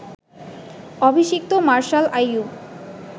অভিষিক্ত মার্শাল আইয়ূব